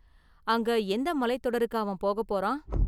அங்க எந்த​ மலைத்தொடருக்கு அவன் போகப் போறான்?